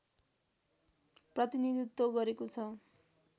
प्रतिनीधित्व गरेको छ